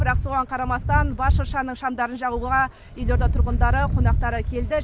бірақ соған қарамастан бас шыршаның шамдарын жағуға елорда тұрғындары қонақтары келді